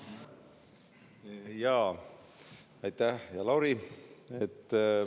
Jaa, aitäh, hea Lauri!